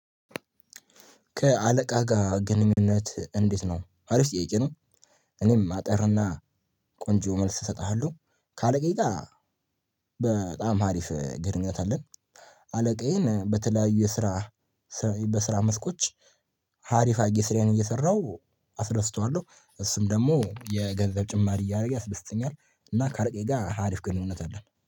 ከአለቃ ጋር ግንኙነት እንዴት ነው አሪፍ ጥያቄ ነው? እኔም አጠርና ቆንጆ መልስ እሰጥሃለሁ ከአለቃዬ ጋር በጣም አሪፍ ግንኙነት አለን። አለቃዬን በተለያዩ የስራ በስራ መስኮች አሪፍ አርጌ ስራዬን እየሰራሁ አስደስተዋለሁ እሱም ደግሞ የገንዘብ ጭማሪ እያደረገ ያስደስተኛል። እና ካለቃዬ ጋር አሪፍ ግንኙነት አለን